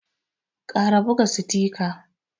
kara ɓuga sitika.